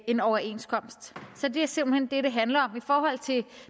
en overenskomst så det er simpelt hen det det handler om i forhold til